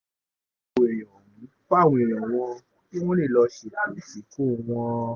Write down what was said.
fáwọn èèyàn wọn kí wọ́n lè lọ́ọ́ ṣètò ìsìnkú wọn